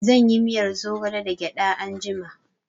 I will make moringa soup with groundnut